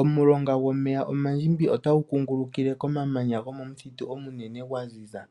Omulonga gomeya omandjimbi otagu kungulukile komamanya gomomuthitu omunene gwaziza.